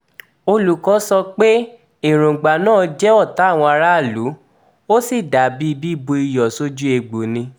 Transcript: olùwọ́ọ́ sọ pé èròǹgbà náà jẹ́ ọ̀tá àwọn aráàlú ó sì dà bíi bíbu iyọ̀ sójú ègbò ni